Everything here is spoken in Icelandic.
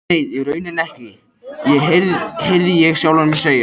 Nei, í rauninni ekki, heyrði ég sjálfan mig segja.